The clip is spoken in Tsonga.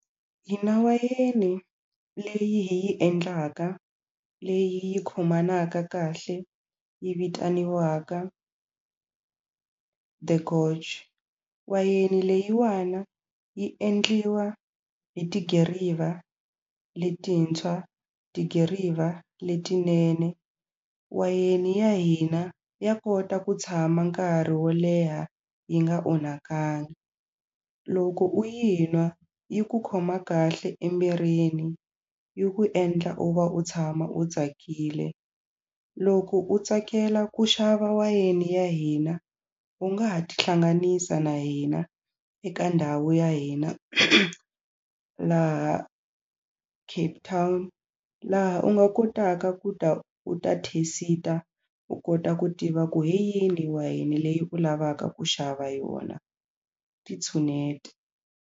Hina wayeni leyi hi yi endlaka leyi yi khomanaka kahle yi vitaniwaka The Goj wayeni leyiwana yi endliwa hi tidiriva letintshwa tidiriva letinene wayeni ya hina ya kota ku tshama nkarhi wo leha yi nga onhakangi loko u yi nwa yi ku khoma kahle emirini yi ku endla u va u tshama u tsakile loko u tsakela ku xava wayeni ya hina u nga ha tihlanganisa na hina eka ndhawu ya hina laha Cape Town laha u nga kotaka ku ta u ta thesita u kota ku tiva ku hi yini wayeni leyi u lavaka ku xava yona ti tshuneti.